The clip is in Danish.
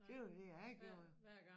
Det var det jeg gjorde jo